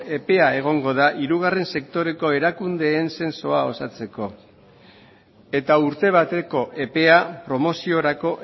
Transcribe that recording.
epe bat egongo da hirugarren sektoreko erakundeen zentsua gauzatzeko eta urte bateko epea promoziorako